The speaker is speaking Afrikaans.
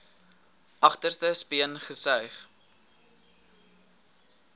agterste speen gesuig